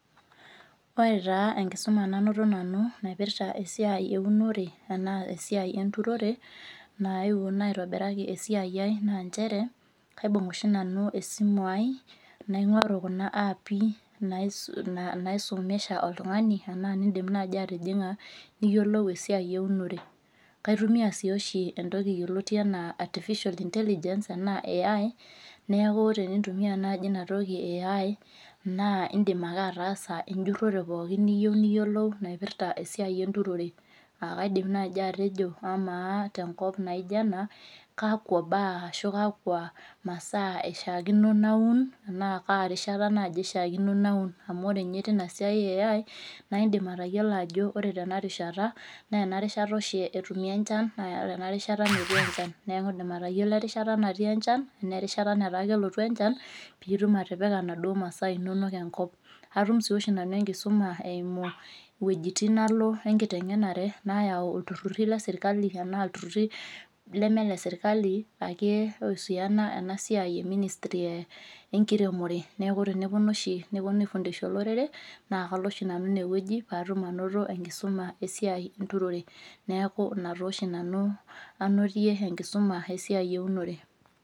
Ore taa enkisuma nainoto nanu naipirta esiai eunore tana esiai enturore naewuo naitobiraki esiaia ai na nchere kaibung oshi nanu esimu aai nainguraa kuna api naisumiasha oltungani na indim nai atijinga niyolou esiai eunore, kaitumia si oshi entoki yioloti ana artificial intelligence a AI neaku tenintumia nai inatoki e AI nqa indim ake ataasa ejitore pookinnaipirta esiai enturore akaidim nai atejo amaenkop naijo ena kakwa baa ishaakino paamun atan naibishaakino naun amu ore nye nai tina siai e AI na indim atayiolo ajo ore tenarishata na inarishata oshi etumoki echan na enarishata metii enchan neaky oreerisha nataa kelotu enchan pitum atipika kuna masaa inonok enkop, atum si nanu enkisuma eimu wuejitin nali enkitengenarem nayau serkali na kihusiana enkiremore neaku teneponu oshi neponu aifundisha olorere na kalo oshinanu inewueji patum enkisuma esiai enturore neaku inaoshi nanu ainotie enkisuma esiai eunore.